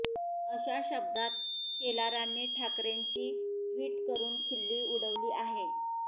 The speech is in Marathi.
अशा शब्दात शेलारांनी ठाकरेंंची ट्वीट करून खिल्ली उडवली आहे